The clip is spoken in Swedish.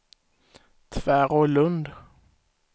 Tvärålund